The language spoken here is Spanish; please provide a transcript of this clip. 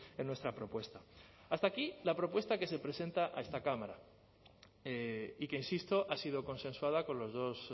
en nuestra propuesta hasta aquí la propuesta que se presenta a esta cámara y que insisto ha sido consensuada con los dos